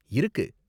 இருக்கு